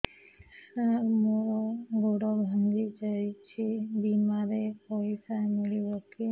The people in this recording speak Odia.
ସାର ମର ଗୋଡ ଭଙ୍ଗି ଯାଇ ଛି ବିମାରେ ପଇସା ମିଳିବ କି